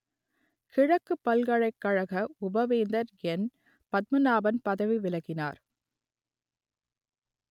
கிழக்குப் பல்கலைக்கழக உபவேந்தர் என் பத்மநாதன் பதவி விலகினார்